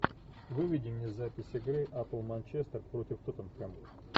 выведи мне запись игры апл манчестер против тоттенхэм